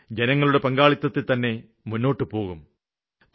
അത് ജനങ്ങളുടെ പങ്കാളിത്തത്തില്തന്നെ മുന്നോട്ടുപോകും